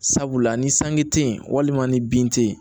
Sabula ni sanji te yen walima ni bin te yen